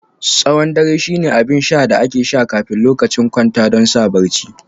Tsawon dare shine abin sha da ake sha kafin lokacin kwanta don sa barci